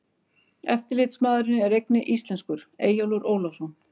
Eftirlitsmaðurinn er einnig íslenskur, Eyjólfur Ólafsson.